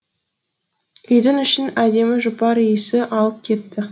үйдің ішін әдемі жұпар иісі алып кетті